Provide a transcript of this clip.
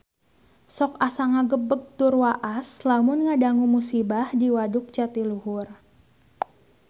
Sok asa ngagebeg tur waas lamun ngadangu musibah di Waduk Jatiluhur